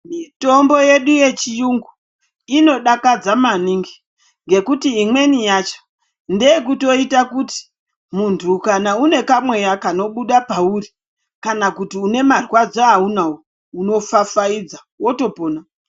Mitombo yedu yechirungu inodakadza maningi nekuti imweni yacho ndeyekutoita kuti muntu kana une kwamweya kanobuda pauri kana kuti une marwadzo aunawo unopfapfaidza wotopona .